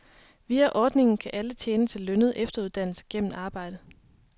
Via ordningen kan alle tjene til lønnet efteruddannelse gennem arbejde.